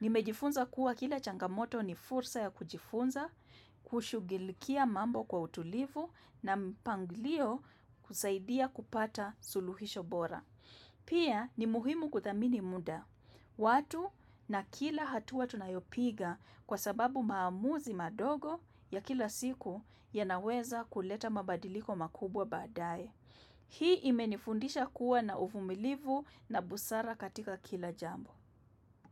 Nimejifunza kuwa kila changamoto ni fursa ya kujifunza, kushugilikia mambo kwa utulivu na mpanglio kusaidia kupata suluhisho bora. Pia ni muhimu kuthamini muda. Watu na kila hatua tunayopiga kwasababu maamuzi madogo ya kila siku ya naweza kuleta mabadiliko makubwa badae. Hii imenifundisha kuwa na uvumilivu na busara katika kila jambo.